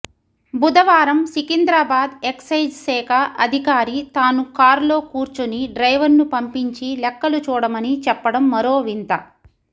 బుధవారం సికింద్రాబాద్ ఎక్సైజ్ శాఖ అధికారి తాను కార్లో కూర్చొని డ్రైవర్ను పంపించి లెక్కలు చూడమని చెప్పడం మరోవింత